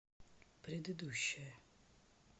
предыдущая